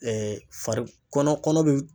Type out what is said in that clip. fari kɔnɔ kɔnɔ bɛ.